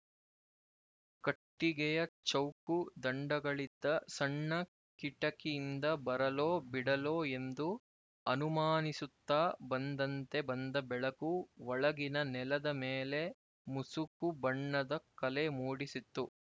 ಕಟ್ಟಿಗೆಯ ಚೌಕು ದಂಡಗಳಿದ್ದ ಸಣ್ಣ ಕಿಟಕಿಯಿಂದ ಬರಲೋ ಬಿಡಲೋ ಎಂದು ಅನುಮಾನಿಸುತ್ತ ಬಂದಂತೆ ಬಂದ ಬೆಳಕು ಒಳಗಿನ ನೆಲದ ಮೇಲೆ ಮುಸುಕುಬಣ್ಣದ ಕಲೆ ಮೂಡಿಸಿತ್ತು